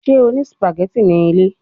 Ṣe o ni spaghetti ni ile?